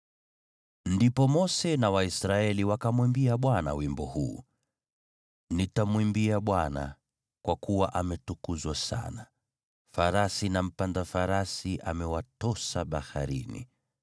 Ndipo Mose na Waisraeli wakamwimbia Bwana wimbo huu: “Nitamwimbia Bwana , kwa kuwa ametukuzwa sana. Farasi na mpanda farasi amewatosa baharini.